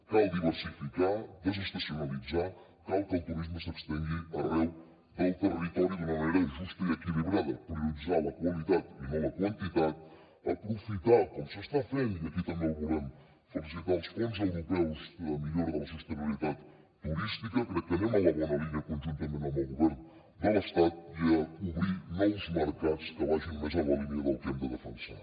cal diversificar desestacionalitzar cal que el turisme s’estengui arreu del territori d’una manera justa i equilibrada prioritzar la qualitat i no la quantitat aprofitar com s’està fent i aquí també el volem felicitar els fons europeus de millora de la sostenibilitat turística crec que anem en la bona línia conjuntament amb el govern de l’estat i obrir nous mercats que vagin més en la línia del que hem de defensar